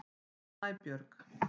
Snæbjörg